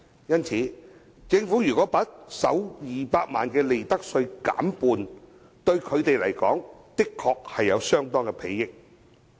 因此，政府把首200萬元利潤的利得稅減半，對他們確實有相當裨益。